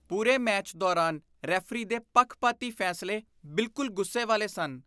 ਪੂਰੇ ਮੈਚ ਦੌਰਾਨ ਰੈਫਰੀ ਦੇ ਪੱਖਪਾਤੀ ਫੈਸਲੇ ਬਿੱਲਕੁਲ ਗੁੱਸੇ ਵਾਲੇ ਸਨ।